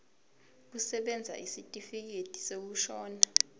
kusebenza isitifikedi sokushona